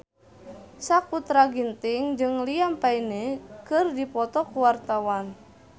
Sakutra Ginting jeung Liam Payne keur dipoto ku wartawan